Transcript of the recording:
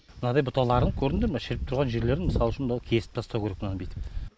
мынадай бұталарын көрдіңдер ма шіріп тұрған жерлерін мысалы үшін кесіп тастау керек мынаны бүйтіп